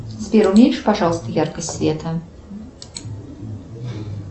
сбер уменьши пожалуйста яркость света